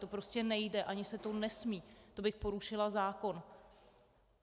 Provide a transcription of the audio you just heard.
To prostě nejde, ani se to nesmí, to bych porušila zákon.